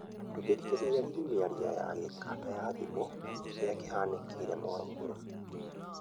ndungĩthĩkĩrĩrĩa rĩngĩ mĩarĩo ya mĩkanda ya thĩmu, kĩrĩa kĩhanĩkĩre muruguru?